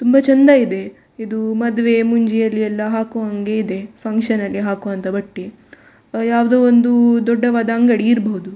ತುಂಬ ಚೆಂದ ಇದೆ. ಇದು ಮದುವೆ ಮುಂಜಿಯಲ್ಲಿ ಎಲ್ಲ ಹಾಕುವಂಗೆ ಇದೆ ಫಂಕ್ಷನ್‌ ಗೆ ಹಾಕುವಂತ ಬಟ್ಟೆ .ಯಾವುದೋ ಒಂದು ದೊಡ್ಡವಾದ ಅಂಗಡಿ ಇರ್ಬಹುದು.